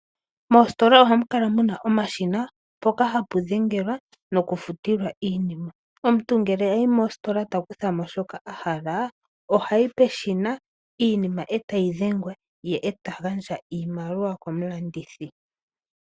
Mostola ohamu kala muna omashina mpoka hapu dhengelwa no kufutila iinima. Omuntu ngele ayi mostola taku thamo shoka ahala ohayi peshina iinima eta yi dhengwa ye eta gandja iimaliwa komulandithi.